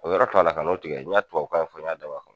O yɔrɔ k'a la dɛ ka n'a tigɛ, n ɲa tubabu kan fɔ, n ɲa dabɔ a kama